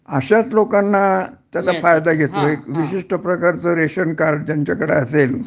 अश्याच लोकांनां त्यांना फायदा घेतो एक विशिष्ट प्रकारचं रेशन कार्ड ज्यांच्याकडे असेल